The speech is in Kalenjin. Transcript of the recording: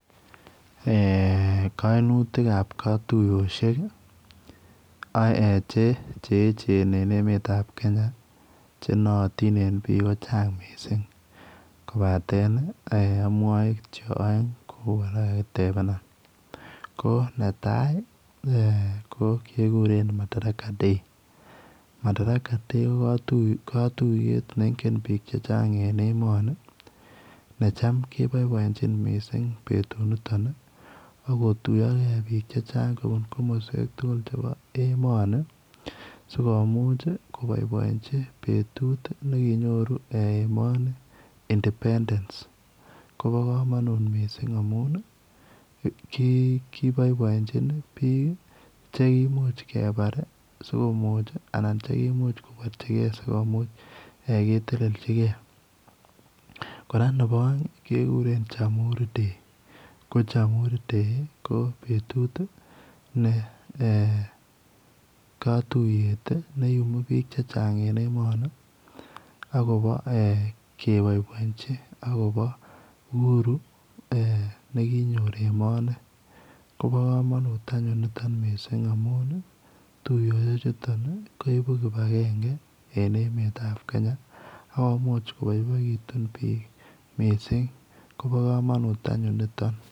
Kainutik ab katuiyoshek cheyechen en emet en ab Kenya konaatin en bik kochangak mising kobaten amwae kityo aeng kobeku arawet ketebenam ko netai kekuren Madara day ko madaraka day ko katuiyetneingenbik chechang en emoni necham kebaibainchin betut niton akotuya gei bik chechang kobun kamaswek tugul cheimuche kobaibait betut nekinyoru emoni independence Koba kamanut mising amun kibaebaenchinchekimuch kebare komu anan kochekibarchigei kora Nebo aeng komiten Jamhuri dayakohokiday ko betutkatuiyetneyumu bik chechang en emetakobo kebaibainchin akobobuhuru nekinyoru emoni Koba kamanut anyun niton mising amun tuyoshek chuton koibu kibagenge en emet ab Kenya akomuche koyumak bik tugu